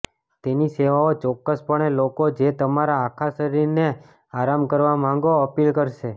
તેની સેવાઓ ચોક્કસપણે લોકો જે તમારા આખા શરીરને આરામ કરવા માંગો અપીલ કરશે